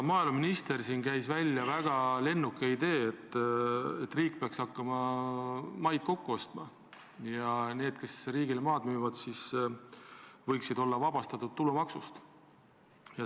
Maaeluminister käis välja väga lennuka idee, et riik peaks hakkama maid kokku ostma ja need, kes riigile maad müüvad, võiksid olla vabastatud tulumaksust.